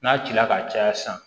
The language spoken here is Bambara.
N'a cila ka caya sisan